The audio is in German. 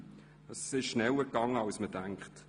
Es ging schneller als man denkt.